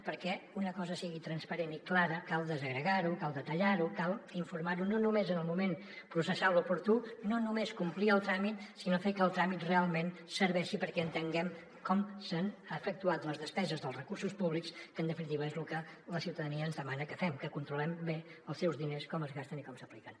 perquè una cosa sigui transparent i clara cal desagregar·ho cal detallar·ho cal informar·ho no només en el moment processal oportú no només complir el tràmit sinó fer que el tràmit realment serveixi perquè entenguem com s’han efectuat les despeses dels recursos públics que en definitiva és lo que la ciutadania ens demana que fem que controlem bé els seus diners com es gasten i com s’apliquen